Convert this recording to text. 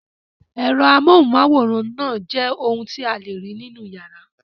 Ẹ̀rọ amóhùmáwòhán náà jẹ́ ohun tí a lè rí nínú ìyàrá.